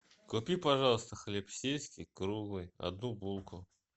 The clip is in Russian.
купи пожалуйста хлеб сельский круглый одну булку